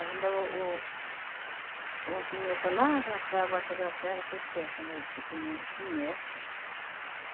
Ainda o o um senhor para lá, para para a baixa da serra que pesca ainda, que tem o.